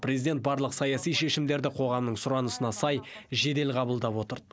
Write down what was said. президент барлық саяси шешімдерді қоғамның сұранысына сай жедел қабылдап отырды